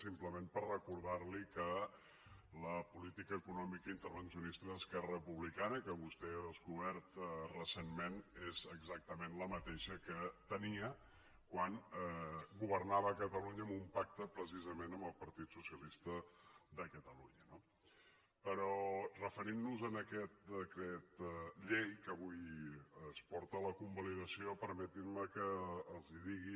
simplement per recordar li que la política econòmica intervencionista d’esquerra republicana que vostè ha descobert recentment és exactament la mateixa que tenia quan governava catalunya amb un pacte precisament amb el partit socialista de catalunya no però referint nos a aquest decret llei que avui es porta a la convalidació permetin me que els digui